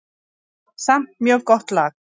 Samt mjög gott lag.